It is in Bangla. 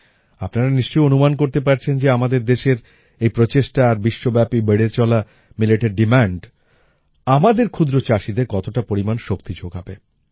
আপনারা নিশ্চয়ই অনুমান করতে পারছেন যে আমাদের দেশের এই প্রচেষ্টা আর বিশ্বব্যাপী বেড়ে চলা মিলেটের ডিমান্ড আমাদের ক্ষুদ্রচাষীদের কতটা পরিমাণ শক্তি জোগাবে